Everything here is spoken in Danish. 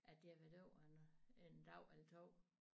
At det har været over en en dag eller 2